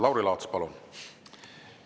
Lauri Laats, palun!